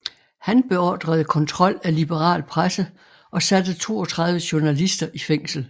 Han beordrede kontrol af liberal presse og satte 32 journalister i fængsel